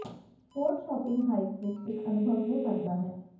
port shopping hype ਵਿਚ ਇਕ ਅਨੁਭਵ ਹੋ ਸਕਦਾ ਹੈ